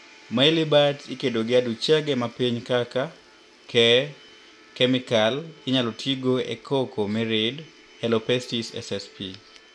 Maelybugs ikedo gi aduchege mapiny kaka, keeh, chemikal inyalo tiigo e cocoa mirid(Helopestis ssp.)